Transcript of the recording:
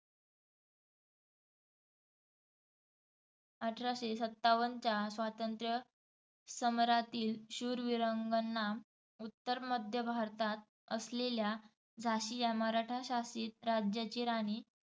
अठराशे सत्तावन्नच्या स्वातंत्र्य समरातील शूरविरांगना उत्तरमध्य भारतात असलेल्या झाशी या मराठाशासित राज्याची राणी